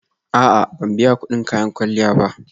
A'a, ban biya kudin kayan kwalliya ba